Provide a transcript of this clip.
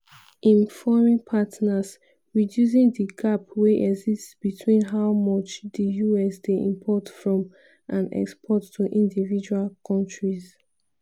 im foreign partners - reducing di gap wey exist between how much di us dey import from and export to individual kontris.